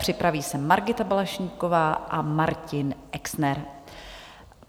Připraví se Margita Balaštíková a Martin Exner.